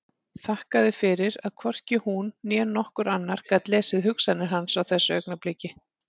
Þakkaði fyrir að hvorki hún né nokkur annar gat lesið hugsanir hans á þessu augnabliki.